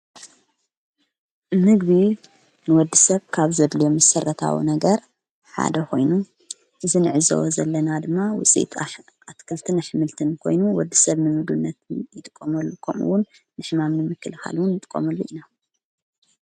ምግቢ ንወዲ ሰብ ካብ ዘድሎየ መሠረታዊ ነገር ሓደ ኾይኑ ዝንዕዝ ዘለና ድማ ውፂኢት ኣትከልትን ኣኅምልትን ኮይኑ ወዲ ሰብ ንምግብነት ይጥቆመሉ ቆምውን ንሕማምኒ ምክልኻልዉን ይጥቆመሉ ኢና